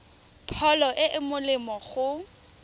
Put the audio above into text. pholo e e molemo go